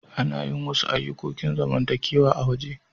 Ana yin wasu ayukokin zamantakewa a'waje.